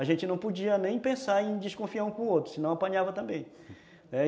A gente não podia nem pensar em desconfiar um com o outro, senão apanhava também, né.